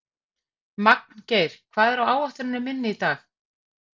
Magngeir, hvað er á áætluninni minni í dag?